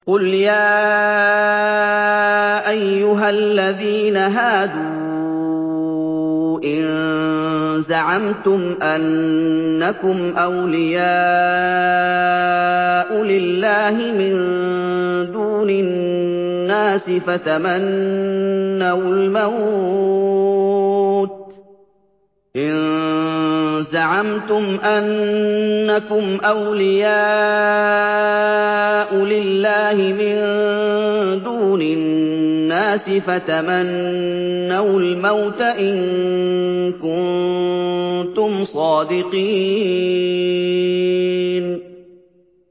قُلْ يَا أَيُّهَا الَّذِينَ هَادُوا إِن زَعَمْتُمْ أَنَّكُمْ أَوْلِيَاءُ لِلَّهِ مِن دُونِ النَّاسِ فَتَمَنَّوُا الْمَوْتَ إِن كُنتُمْ صَادِقِينَ